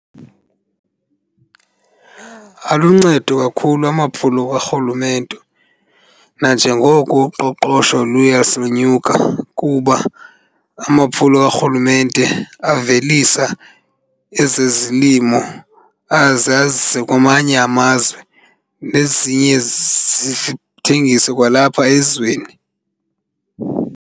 Aluncedo kakhulu amaphulo karhulumente nanjengoko uqoqosho luya lusonyuka kuba amaphulo karhulumente avelisa ezezilimo aze azise kwamanye amazwe nezinye zithengiswe kwalapha ezweni.